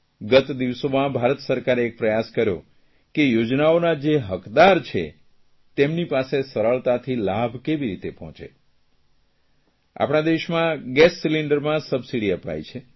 ગત દિવસોમાં ભારત સરકારે એક પ્રયાસ કર્યો કે યોજનાઓના જે હકદાર છે તેમની પાસે સરળતાથી લાભ કેવી રીતે પહોંચે આપણા દેશમાં ગેસ સિલિન્ડરમાં સબસીડી અપાય છે